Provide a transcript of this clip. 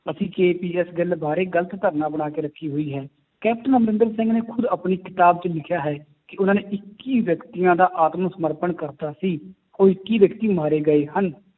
ਅਸੀਂ KPS ਗਿੱਲ ਬਾਰੇ ਗ਼ਲਤ ਧਾਰਨਾ ਬਣਾ ਕੇ ਰੱਖੀ ਹੋਈ ਹੈ, ਕੈਪਟਨ ਅਮਰਿੰਦਰ ਸਿੰਘ ਨੇ ਖੁੱਦ ਆਪਣੀ ਕਿਤਾਬ 'ਚ ਲਿਖਿਆ ਹੈ ਕਿ ਉਹਨਾਂ ਨੇ ਇੱਕੀ ਵਿਅਕਤੀਆਂ ਦਾ ਆਤਮ ਸਮਰਪਣ ਕਰ ਦਿੱਤਾ ਸੀ ਉਹ ਇੱਕੀ ਵਿਅਕਤੀ ਮਾਰੇ ਗਏ ਹਨ,